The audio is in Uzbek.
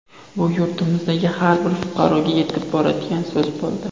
Bu yurtimizdagi har bir fuqaroga yetib boradigan so‘z bo‘ldi.